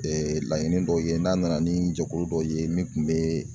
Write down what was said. laɲini dɔw ye n'an nana ni jɛkulu dɔ ye min tun bɛ